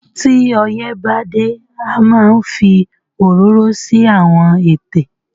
tí oyè bá dé a máa ń fí ororo sí Àwọn ètè.